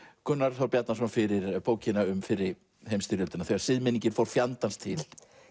Gunnar Þór Bjarnason fyrir bókina um fyrri heimsstyrjöldina þegar siðmenningin fór fjandans til